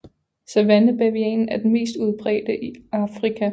Savannebavianen er den mest udbredte i Afrika